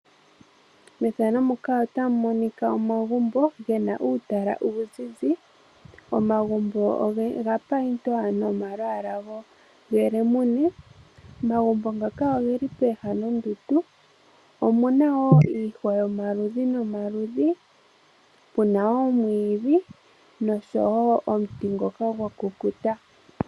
Methano muka otamu monika omagumbo gena uutala uuzizi. Omagumbo oga payindwa nomalwaala gelemune. Omagumbo ngaka ogeli pooha nonduundu. Omuna wo iihwa yomaludhi. nomaludhi puna wo oomwiidhi noshowo omuti ngoka gwa kukuta.